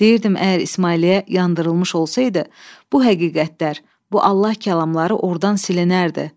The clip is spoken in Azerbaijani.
Deyirdim əgər İsmailliyə yandırılmış olsaydı, bu həqiqətlər, bu Allah kəlamları ordan silinərdi.